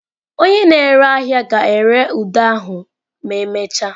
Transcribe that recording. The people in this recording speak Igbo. Onye na-ere ahịa ga-ere ude ahụ ma emechaa.